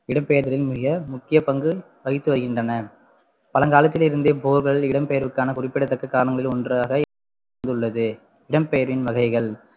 இடம்பெயர்தலின் மிக முக்கிய பங்கு வகித்து வருகின்றன பழங்காலத்திலிருந்தே இடம்பெயர்வுக்கான குறிப்பிடத்தக்க காரணங்களுள் ஒன்றாக இருந்துள்ளது இடம்பெயரின் வகைகள்